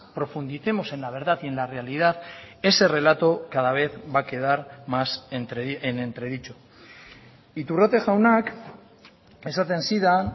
profundicemos en la verdad y en la realidad ese relato cada vez va a quedar más en entredicho iturrate jaunak esaten zidan